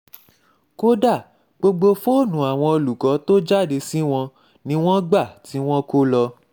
kódà gbogbo fóònù àwọn olùkọ́ tó jáde sí wọn ni wọ́n gba ti wọn kó lọ